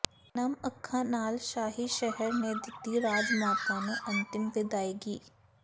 ਨਮ ਅੱਖਾਂ ਨਾਲ ਸ਼ਾਹੀ ਸ਼ਹਿਰ ਨੇ ਦਿੱਤੀ ਰਾਜਮਾਤਾ ਨੂੰ ਅੰਤਿਮ ਵਿਦਾਇਗੀ